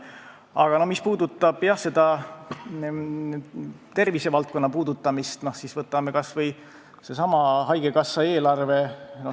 Aga mis puudutab tervisevaldkonda, siis võtame kas või haigekassa eelarve.